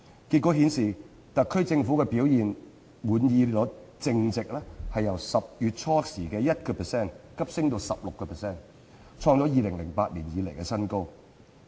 結果顯示，特區政府表現滿意率淨值由10月初只有 1% 急升至 16%， 創2008年以來新高。